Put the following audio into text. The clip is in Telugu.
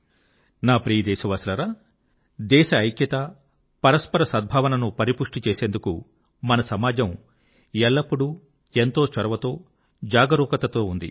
నా ప్రియ దేశవాసులారా దేశం యొక్క ఐక్యత పరస్పర సద్భావన ను పరిపుష్టి చేసేందుకు మన సమాజం ఎల్లప్పుడూ ఎంతో చొరవతో జాగరూకతతో ఉంది